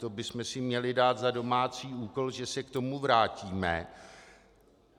To bychom si měli dát za domácí úkol, že se k tomu vrátíme.